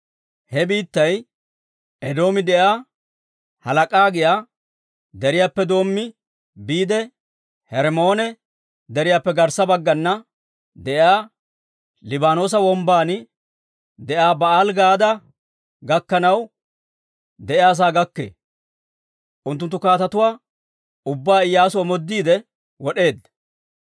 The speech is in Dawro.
He biittay Edoomi de'iyaa Halaak'a giyaa deriyaappe doommi biide, Hermmoone Deriyaappe garssa baggana de'iyaa Liibaanoosa Wombban de'iyaa Ba'aali-Gaada gakkanaw de'iyaa sa'aa gakkee. Unttunttu kaatetuwaa ubbaa Iyyaasu omoodiide wod'eedda.